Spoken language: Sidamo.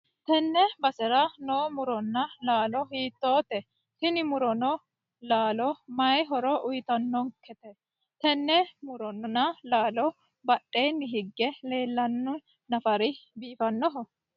tenne basera no muronna laalo hiittote? tini muronna laalo mayi horo uytannonkete? tenne muronna laalo badheenni hige leellanno nafari biifannoho?